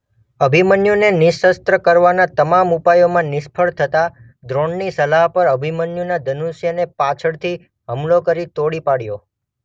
અભિમન્યુને નિશસ્ત્ર કરવાના તમામ ઉપાયોમાં નિષ્ફળ થતાં દ્રોણની સલાહ પર અભિમન્યુના ધનુષ્યને પાછળથી હુમલો કરી તોડી પાડ્યો.